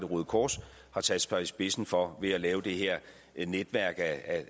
røde kors har sat sig i spidsen for ved at lave det her netværk af